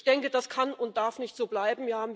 Ich denke das kann und darf nicht so bleiben.